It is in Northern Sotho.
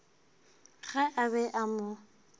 ge a be a mo